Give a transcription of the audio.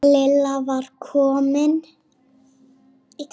Lilla var komin.